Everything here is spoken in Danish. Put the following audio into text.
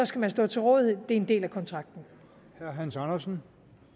skal man stå til rådighed det er en del af kontrakten kontrakten